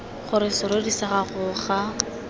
gore serori sa gago ga